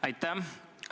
Aitäh!